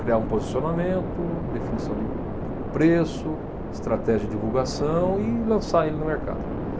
Criar um posicionamento, definição de, de preço, estratégia de divulgação e lançar ele no mercado.